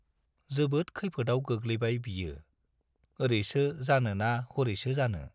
जोबोद खैफोदाव गोग्लैबाय बियो- ओरैसो जानो ना हरैसो जानो।